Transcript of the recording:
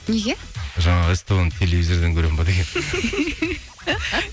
неге жаңағы ств ні телевизордан көремін бе деген